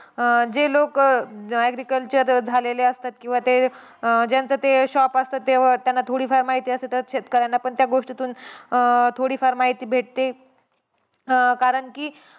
अं जे लोक agriculture झालेले असतात, किंवा ते ज्यांचं ते shop असतं, त्यांना थोडी-फार माहिती असते, तर शेतकऱ्यांना पण त्या गोष्टीतून अं थोडी-फार माहिती भेटते. कारण की,